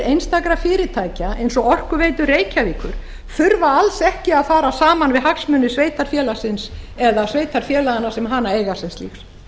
einstakra fyrirtækja eins og orkuveitu reykjavíkur þurfa alls ekki að fara saman við hagsmuni sveitarfélagsins eða sveitarfélaganna sem hana eiga sem slíks